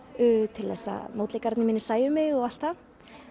til þess að mótleikarar mínir sæju mig og allt það